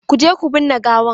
Ku je ku binne gawan!